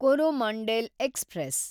Coromandel express